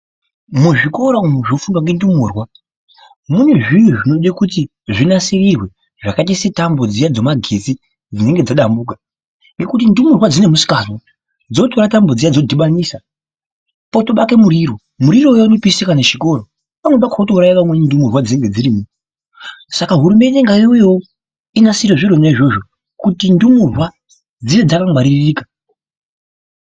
Muzvikora umu zvinofundwa ngendumurwa mune zviro zvinode kuti zvinasirirwe zvakaita setambo dziya dzemagetsi dzinenge dzadambuka. Ngekuti ndumurwa dzine musikazwa, dzinotore tambo dziya dzodhibanisa potobake muriro, muriro uya unotopishe kana zvikora, pamweni pakhona wotouraye vamweni ndumurwa dzinonge dzirimo. Saka hurumende ngaiwuyewo inasire zvirona izvozvo kuti ndumurwa dzive dzakangwaririka.